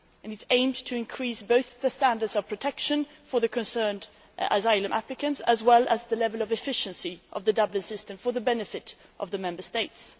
It aimed to increase both the standards of protection for the asylum applicants concerned, as well as the level of efficiency of the Dublin system for the benefit of the Member States.